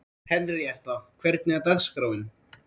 Henríetta, hvernig er dagskráin?